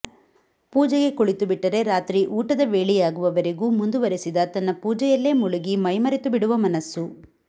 ಪೂಜೆಗೆ ಕುಳಿತು ಬಿಟ್ಟರೆ ರಾತ್ರಿ ಊಟದ ವೇಳೆಯಾಗುವವರೆಗೂ ಮುಂದುವರೆಸಿದ ತನ್ನ ಪೂಜೆಯಲ್ಲೇ ಮುಳುಗಿ ಮೈ ಮರೆತು ಬಿಡುವ ಮನಸ್ಸು